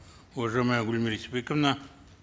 уважаемая гульмира истайбековна